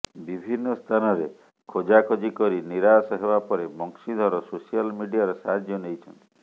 ବିଭିନ୍ନ ସ୍ଥାନରେ ଖୋଜାଖୋଜି କରି ନିରାଶ ହେବା ପରେ ବଂଶୀଧର ସୋସିଆଲ ମିଡିଆର ସାହାଯ୍ୟ ନେଇଛନ୍ତି